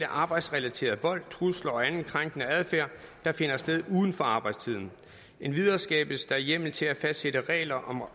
arbejdsrelateret vold trusler og anden krænkende adfærd der finder sted uden for arbejdstiden endvidere skabes der hjemmel til at fastsætte regler